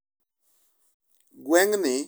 Gweng'ni osewere chuth gi tero nyangu.